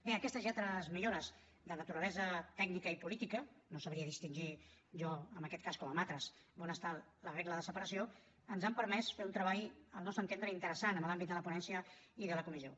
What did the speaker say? bé aquestes i altres millores de naturalesa tècnica i política no sabria distingir jo en aquest cas com en altres on està la regla de separació ens han permès fer un treball al nostre entendre interessant en l’àmbit de la ponència i de la comissió